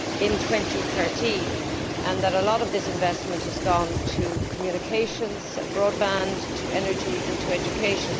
in 2013 and that a lot of this investment has gone to communications, broadband, energy and education.